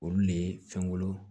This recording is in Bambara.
Olu le ye fɛngolo